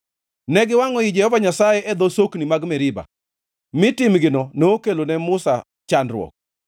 Ne giwangʼo i Jehova Nyasaye, e dho sokni mag Meriba, mi timgino nokelone Musa chandruok;